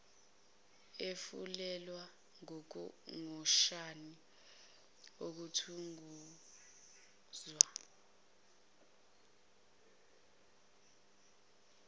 efulelwe ngotshani okuthuquzwa